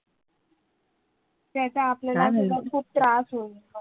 त्याचा आपल्याला पण खूप त्रास होईल.